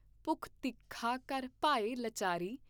ਭੁਖ ਤਿਖਾ ਕਰ ਭਏ ਲਾਚਾਰੀ।